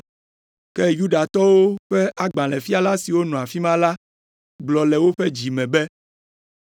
Ke Yudatɔwo ƒe agbalẽfiala siwo nɔ afi ma la gblɔ le woƒe dzi me be,